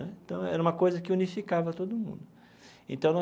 Né então, era uma coisa que unificava todo mundo então.